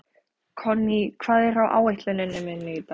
Konný, hvað er á áætluninni minni í dag?